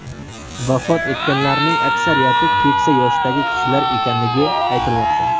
Vafot etganlarning aksariyati keksa yoshdagi kishilar ekanligi aytilmoqda.